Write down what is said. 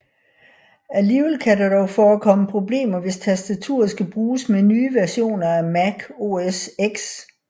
Alligevel kan der dog forekomme problemer hvis tastaturet skal bruges med nye versioner af Mac OS X